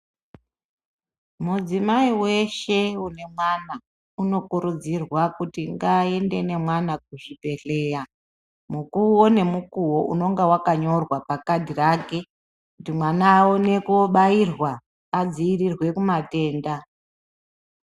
Mudzimai weshe une mwana uno kurudzirwa kuti nga ende ne mwana ku zvibhedhleya mukuwo ne mukuwo unonga waka nyorwa pa kadhi rake kuti mwana awone ko bairwa adzivirirwe ku matenda.